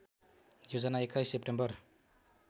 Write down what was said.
Yojana २१ September